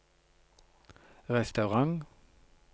restaurant